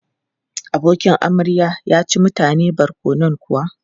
Abokin amarya ya ci mutane barkonon kuwa?